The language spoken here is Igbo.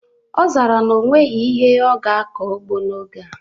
Ọ zara na o nweghị ihe ọ ga-akọ n'ugbo n'oge a